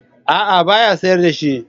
A'a ba ya sayar da shi.